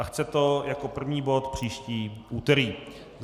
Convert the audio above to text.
A chce to jako první bod příští úterý.